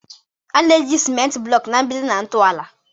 A na-eji ciment blocks na mgbidi na ntọala.